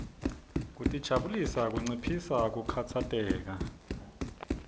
kutijabulisa kunciphisa kukhatsateka